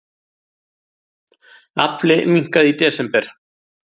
Afli minnkaði í desember